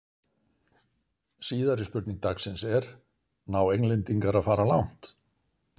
Síðari spurning dagsins er: Ná Englendingar að fara langt?